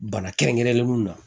Bana kɛrɛnkɛrɛnlen mun na